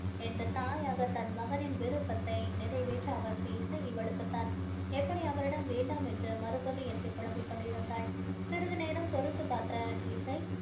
என்று தாயாக தன் மகனின் விருப்பத்தை நிறைவேற்ற அவள் பேசி இவளுக்கு தான் எப்படி அவளிடம் வேண்டாம் என்று மறுப்பது என்று குழம்பிக் கொண்டிருந்தாள் சிறிது நேரம் பொறுத்து பார்த்த இசை